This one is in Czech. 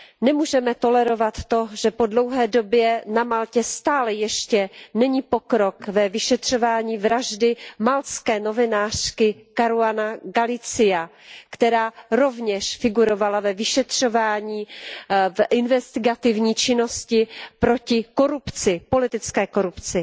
Nemůžeme tolerovat to, že po dlouhé době na Maltě stále ještě není pokrok ve vyšetřování vraždy maltské novinářky Caruanové Galiziové, která rovněž figurovala ve vyšetřování, v investigativní činnosti proti politické korupci.